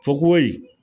Fokohoye